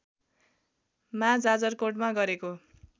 मा जाजरकोटमा गरेको